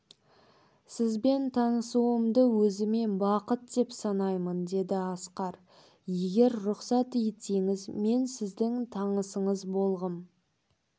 сізбен танысуымды өзіме бақыт деп санаймын деді асқар егер рұқсат етсеңіз мен сіздің танысыңыз болғым